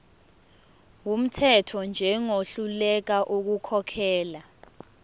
wumthetho njengohluleka ukukhokhela